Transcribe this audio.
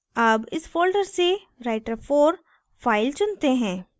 अब इस folder से writer4 file चुनते हैं